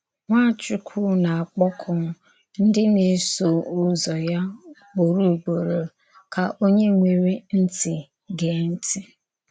Nwàchùkwù na-akpọ̀kù ndí na-èsò Ụ́zọ̀ ya ùgbòrò ùgbòrò: Kà onye nwerè ntì gèè ntì.